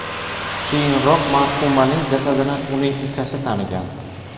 Keyinroq marhumaning jasadini uning ukasi tanigan.